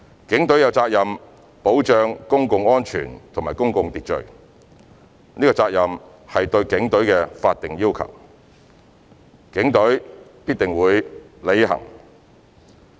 警隊有責任保障公共安全及公共秩序，這責任是對警隊的法定要求，警隊必須履行。